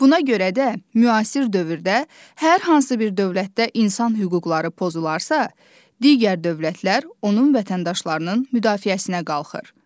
Buna görə də, müasir dövrdə hər hansı bir dövlətdə insan hüquqları pozularsa, digər dövlətlər onun vətəndaşlarının müdafiəsinə qalxır.